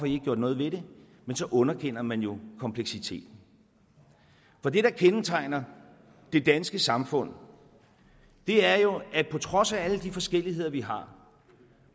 i ikke gjort noget ved det men så underkender man jo kompleksiteten for det der kendetegner det danske samfund er jo at på trods af alle de forskelligheder vi har